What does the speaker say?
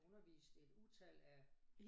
Undervist et utal af